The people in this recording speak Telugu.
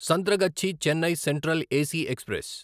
Santragachi Chennai Central AC express